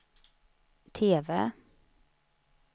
TV